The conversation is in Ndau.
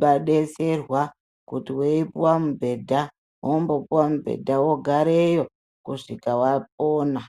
wodetserwa, kuti weyi puwa mubhedha, wombopuwa mubhedha, wogareyo kusvika wapona.